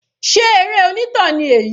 Sé eré onítàn ni èyí?